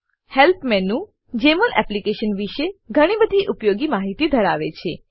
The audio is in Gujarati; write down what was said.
હેલ્પ મેનુ જમોલ એપ્લીકેશન વિશે ઘણી બધી ઉપયોગી માહિતી ધરાવે છે